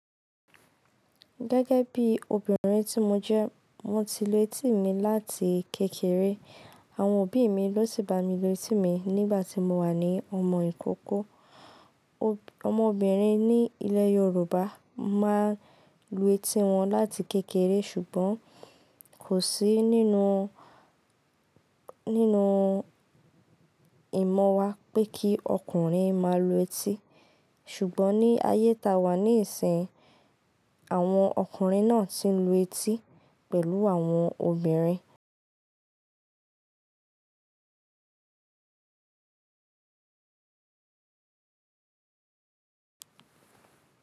Gẹ́gẹ́ bí obìnrin tí mo jẹ́, mo ti lu etí mi láti kékeré. Àwọn òbí mi ló ti bá mi lu etí mi nígbà tí mo wà ní ọmọ ìkókó. Ọmọbìnrin ní ilẹ̀ Yorùbá máa ń lu etí wọn láti kékeré ṣùgbọ́n kò sí nínú, nínú ìmọ̀ wa pé kí ọkùnrin máa lu etí. Ṣùgbọ́n ní ayé ta wà níìsín, àwọn ọkùnrin náà ti ń lu etí pẹ̀lú àwọn obìnrin.